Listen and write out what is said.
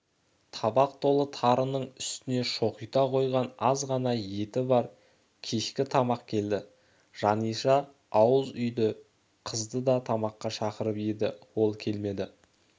табақ толы тарының үстіне шоқита қойған аз ғана еті бар кешкі тамақ келді жаниша ауыз үйдегі қызды да тамаққа шақырып еді ол келмеді